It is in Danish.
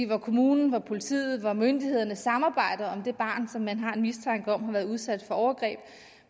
hvor kommunen og politiet og myndighederne samarbejder om det barn som man har en mistanke om har været udsat for overgreb